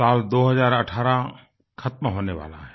साल 2018 ख़त्म होने वाला है